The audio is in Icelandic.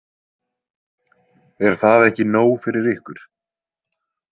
Er það ekki nóg fyrir ykkur?